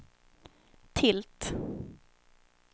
tilt